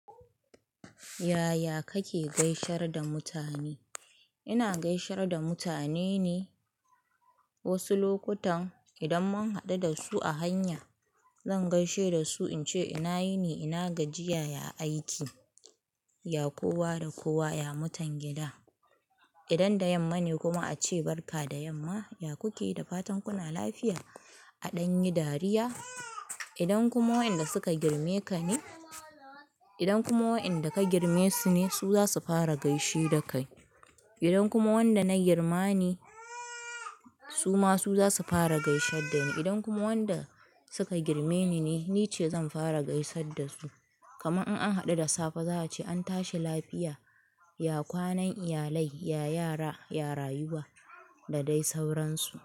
Yaya kake gaisar da mutane? Ina gaisar da mutane ne wasu lokutan idan mun haɗu dasu a hanya zan gaishe dasu in ce ina yini ina gajiya ya aiki, ya kowa da kowa ya mutan gida. Idan da yamma ne kuma ace barka da yamma, ya kuke da fatan kuna lafiya. A ɗanyi dariya, idan kuma waɗanda suka girme ka ne, idan kuma waɗanda ka girme su ne su zasu fara gaishe dakai. Idan kuma wanda na girma ne suma su zasu fara gaishe dani. Idan kuma wanda suka girme ni ne, nice zan fara gaisar da su kaman in an haɗu da safe za a ce an tashi lafiya, ya kwanan iyalai, ya yara, ya rayuwa da dai sauransu.